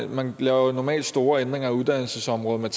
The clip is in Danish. man laver jo normalt store ændringer af uddannelsesområdet med